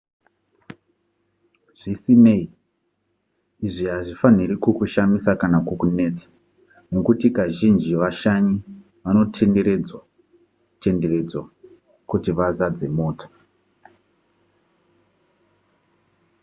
zvisinei izvi hazvifaniri kukushamisa kana kukunetsa nekuti kazhinji vashanyi vanotenderedzwa tenderedzwa kuti vazadze mota